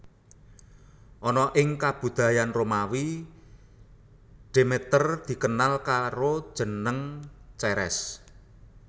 Ana ing kabudayan Romawi Demeter dikenal karo jeneng Ceres